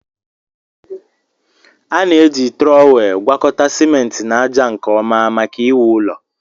A na-eji trọwel gwakọta simenti na ájá nke ọma maka iwu ụlọ